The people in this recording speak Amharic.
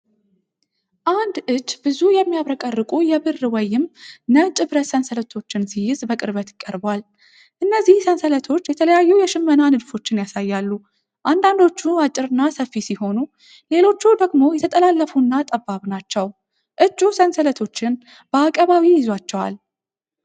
አንድ እጅ ብዙ የሚያብረቀርቁ የብር ወይም ነጭ ብረት ሰንሰለቶችን ሲይዝ በቅርበት ቀርቧል። እነዚህ ሰንሰለቶች የተለያዩ የሽመና ንድፎችን ያሳያሉ፤ አንዳንዶቹ አጭርና ሰፊ ሲሆኑ፣ ሌሎች ደግሞ የተጠላለፉና ጠባብ ናቸው። እጁ ሰንሰለቶቹን በአቀባዊ ይዟቸዋል።